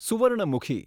Swarnamukhi